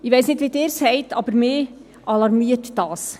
Ich weiss nicht, wie es Ihnen geht, aber mich alarmiert dies.